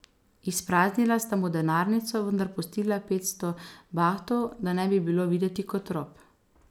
Izpraznila sta mu denarnico, vendar pustila petsto bahtov, da ne bi bilo videti kot rop.